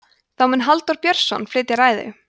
þá mun halldór björnsson flytja ræðu